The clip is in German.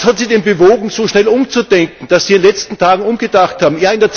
Was hat Sie denn bewogen, so schnell umzudenken, dass Sie in den letzten Tagen umgedacht haben?